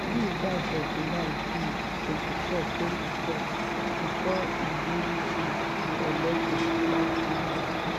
mills die for july um 24th 2012 before e win um di election dat same year.